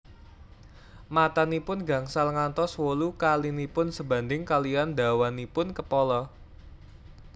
Matanipun gangsal ngantos wolu kalinipun sebanding kaliyan dawanipun kepala